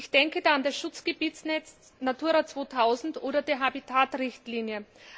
Ich denke da an das Schutzgebietsnetz Natura 2000 oder die Habitat Richtlinie.